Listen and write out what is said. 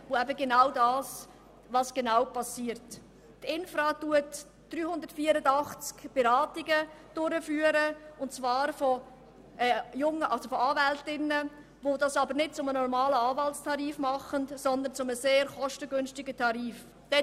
Die Infra führt 384 Beratungen durch und zwar durch Anwältinnen, die dies nicht zum normalen Anwaltstarif, sondern zu einem sehr kostengünstigen Tarif tun.